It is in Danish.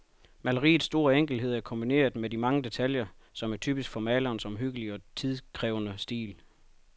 Maleriets store enkelhed er kombineret med de mange detaljer, som er typisk for malerens omhyggelige og tidkrævende stil.